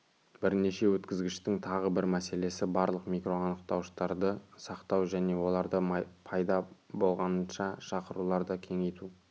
бірінші өткізгіштің тағы бір мәселесі барлық макроанықтауыштарды сақтау және оларды пайда болғанынша шақыруларды кеңейту